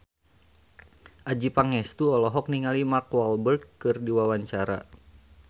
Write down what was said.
Adjie Pangestu olohok ningali Mark Walberg keur diwawancara